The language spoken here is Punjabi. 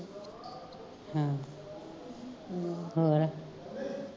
ਹੋਰ